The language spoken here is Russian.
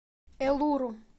элуру